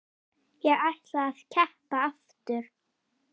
Ég ætla að keppa aftur.